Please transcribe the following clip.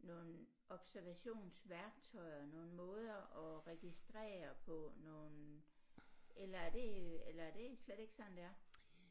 nogle observationsværktøjer nogle måder at registrere på nogle eller er det eller er det slet ikke sådan det er